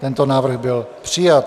Tento návrh byl přijat.